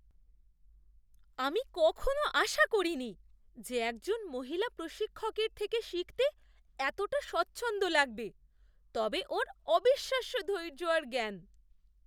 আমি কখনও আশা করিনি যে একজন মহিলা প্রশিক্ষকের থেকে শিখতে এতটা স্বচ্ছন্দ লাগবে, তবে ওঁর অবিশ্বাস্য ধৈর্য আর জ্ঞান!